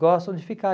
gostam de ficar.